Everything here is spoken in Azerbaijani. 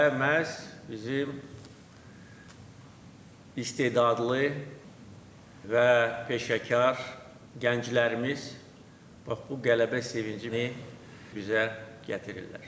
Və məhz bizim istedadlı və peşəkar gənclərimiz bax bu qələbə sevincini bizə gətirirlər.